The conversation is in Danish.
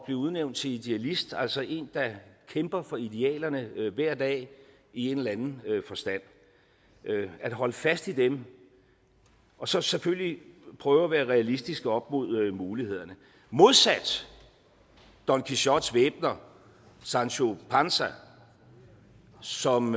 blive udnævnt til idealist altså en der kæmper for idealerne hver dag i en eller anden forstand og holder fast i dem og så selvfølgelig prøver at være realistisk op mod mulighederne modsat don quixotes væbner sancho panza som